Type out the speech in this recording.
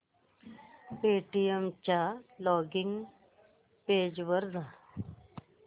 Paytm च्या login page वर जा